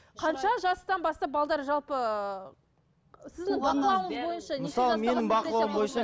қанша жастан бастап балалар жалпы ы